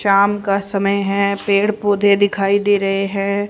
शाम का समय है पेड़ पौधे दिखाई दे रहें हैं।